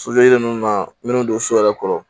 ninnu na minnu don so yɛrɛ kɔrɔ